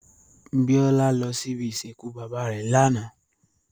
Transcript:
Biola lò si ibi isinkú baba rè làná